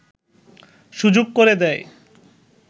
সুযোগ করে দেয়